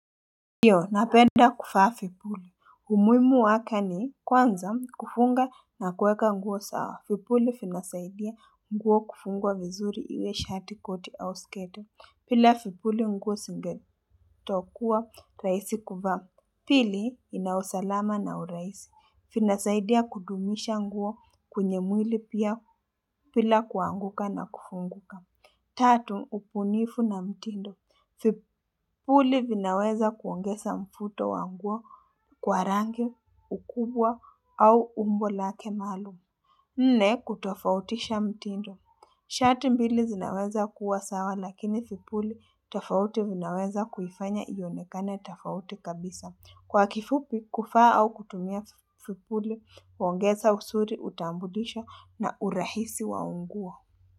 Ndiyo, napenda kufaa vipuli. Umuhimu wake ni kwanza kufunga na kuweka nguo sawa. Vipuli vinasaidia nguo kufungwa vizuri iwe shati koti au skete. Pila vipuli nguo singetokuwa rahisi kuvaa. Pili inaosalama na urahisi. Finasaidia kudumisha nguo kwenye mwili pia pila kuanguka na kufunguka. Tatu, upunifu na mtindo. Vipuli vinaweza kuongeza mfuto wanguo kwa rangi ukubwa au umbo lake maalumu. Nne, kutofautisha mtindo. Shati mbili zinaweza kuwa sawa lakini vipuli tafauti vinaweza kuifanya iyonekane tafauti kabisa. Kwa kifupi kufaa au kutumia fipuli, uongeza usuri utaburisho na urahisi waunguo.